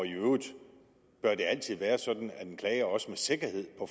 i øvrigt altid være sådan at en klage også med sikkerhed på